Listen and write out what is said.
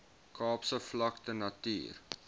kaapse vlakte natuur